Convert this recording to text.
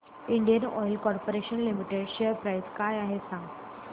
Indian oil corporation limited share price काय आहे सांगा